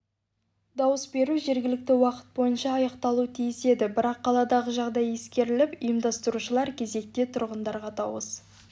дауыс беру жергілікті уақыт бойынша аяқталуы тиіс еді бірақ қаладағы жағдай ескеріліп ұйымдастырушылар кезекте тұрғандарға дауыс